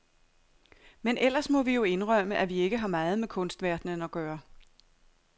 Men ellers må vi jo indrømme, at vi ikke har meget med kunstverdenen at gøre.